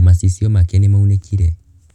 Macicio make nĩmaunĩkire.